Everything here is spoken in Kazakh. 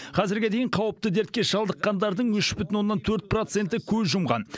қазірге дейін қауіпті дертке шалдыққандардың үш бүтін оннан төрт проценті көз жұмған